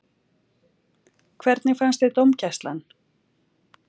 Hvernig fannst þér dómgæslan?